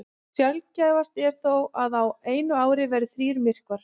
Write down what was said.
Sjaldgæfast er þó að á einu ári verði þrír myrkvar.